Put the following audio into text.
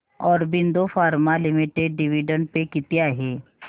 Aurobindo pharma limited dividend pay किती आहे